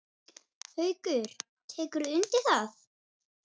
Haukur: Tekurðu undir það?